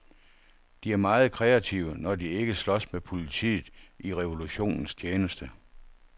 De er meget kreative, når de ikke slås med politiet i revolutionens tjeneste.